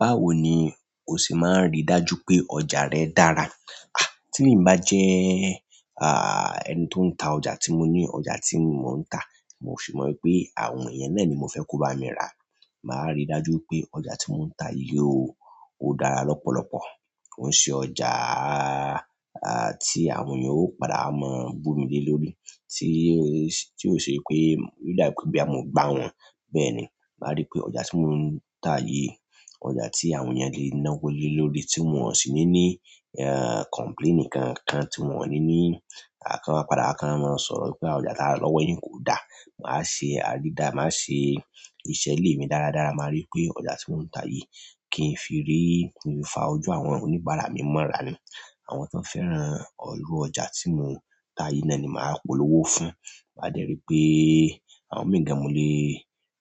Báwo ni o sì máa ń rí dájú pé ọjà rẹ dára? À tí emi bá jẹ́, ah ẹni tó ń ta ọjà tí mo ní, ọjà tí mò ń tà, mo sì mọ̀ pé àwọn ènìyàn náà ni mo fẹ́ kó bá mi rà. Máa ríi dájú pé ọjà tí mò ń tà yìí ó, ó dára lọ́pọ̀lọpọ̀. Ko n ṣe ọjà ah ah tí àwọn ènìyàn ó padà mọ bù mi lé lórí, tí ó ṣe, tí ó ṣe pé, o da bi pe boya mo gba won. Bẹ́ẹ̀ ni, màá rí pé ọjà tí mò ń tà yìí, ọjà tí àwọn ènìyàn lè ná wólé lórí, tí wọ́n ó sì ní ní ah complaint kan kan, tí wọ́n ò ní ní a kan wa padà wa, kán wa máa ń sọ̀rọ̀ wípé ọjà tara lọ́wọ́ yìí kò dá. Màá ṣe àdídá, màá ṣe ìṣe lè mi dáradára. Màá rí pé ọjà tí mò ń tà yìí kì í fi rí, kì í fa ojú àwọn oníbàárà mi mọ́ra ni. Àwọn tan fẹ́ran irù ọjà tí mò ń tà yìí náà ni màá polówó fún. Máa dẹ́ rí pé àwọn mìí gan mo lé,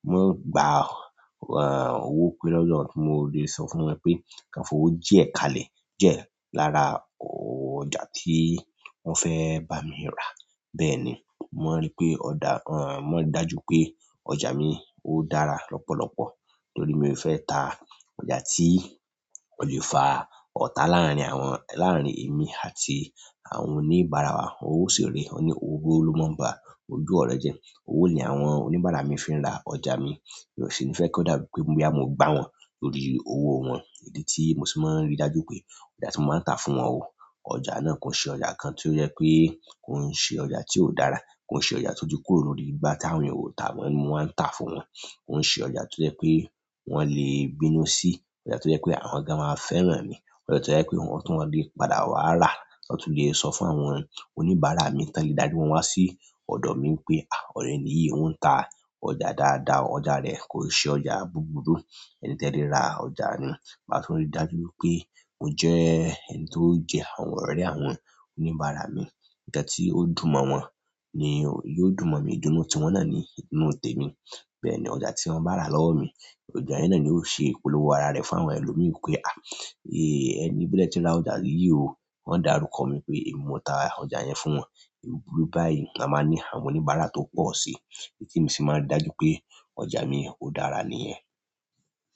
mo gba ah owó pé lọ́wọ́ tí mo lè sọ fún wọn pé ka fi owó díẹ̀ kalẹ̀, díẹ̀ lára ọjà tí wọ́n fẹ́ bá mi rà. Bẹ́ẹ̀ ni, mo mon rí pé ọjà, mo maa n ríi dájú pé ọjà mi ó dára lọ́pọ̀lọpọ̀. Torí mio fe ta ọjà ti ole fa ota larin emi àti àwọn onibara. Owó sì rèé, won ni owó ló máa ń bá ojú ọ̀rọ̀ jẹ́. Owó ni àwọn oníbàárà mi fi ń ra ọjà mi. Mi ò sì ní fẹ́ kí ó dà bí pe boya mo gbá wọn torí owó wọn. Èdí tí mo sì fi máa ń rí dájú pé ọjà tí mo máa ń tà fún wọn o, ọjà náà kò ṣe ọjà kan tí ó jẹ́ pé kò ń ṣe ọjà tí ò dára. Kò ń ṣe ọjà tó ti kúrò lórí igbá tí àwọn ènìyàn ò tà mó ni mo wáa ń tà fún wọn. Ko ń ṣe ọjà tó jẹ́ pé wọ́n lè bínú sí, ọjà tó jẹ́ pé àwọn gan máa fẹ́ran mi. Ọjà tó jẹ́ pé wọ́n tún lè padà wá rà, wọn tún lè sọ fún àwọn oníbàárà mi tón lè dári wọn wá sí ọ̀dọ̀ mi pé, "à oori ẹni yí òun ń tà ọjà dáadáa, ọjà rẹ kò ṣe ọjà búburú. Ẹni te lẹ́ rà ọjà nì." Màá tú ri dájú wipé mo jẹ́ ẹni tó ń jẹ àwọn ọ̀rẹ́ àwọn oníbàárà mi. Nkan ti o dùn mo won, idun nu ti won na ni idun nu temi. Bẹ́ẹ̀ ni ọgà tí wọ́n bá rà lọ́wọ́ mi, ọjà yen no ni yóò ṣe ìpolówó ara rẹ̀ fún àwọn ẹlòmíì. Pé, "à é ẹni bí ẹ ní kí ó ra ọjà yìí ò, wọ́n dá rúkọ mi pé èmi mo tà ọjà yẹn fún wọn." È búburú báyìí la máa ní àwọn oníbàárà tó pọ̀ sí. Èyí tí mo sì máa ń rí dájú pé ọjà mi ó dára nìyẹn.